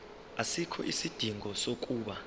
asikho isidingo sokuba